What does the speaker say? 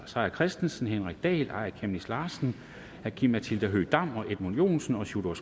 seier christensen henrik dahl aaja chemnitz larsen aki matilda høegh dam edmund joensen og sjúrður